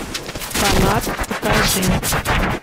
фанат покажи